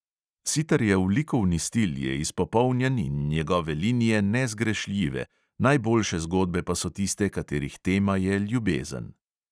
Sitarjev likovni stil je izpopolnjen in njegove linije nezgrešljive, najboljše zgodbe pa so tiste, katerih tema je ljubezen.